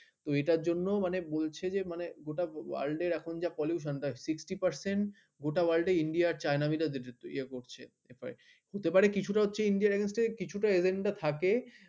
তো এটার জন্য মানে বলছে যে মানে গোটা world এর এখন যা pollution মানে sixty percent ওটা world India আর china মিলিয়ে করছে। হতে পারে কিছুটা হচ্ছে india র against agenda থাকে